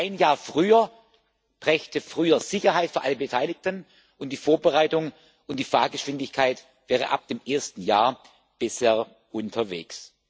Ein Jahr früher brächte früher Sicherheit für alle Beteiligten, und die Vorbereitung und die Fahrgeschwindigkeit wären ab dem ersten Jahr besser unterwegs.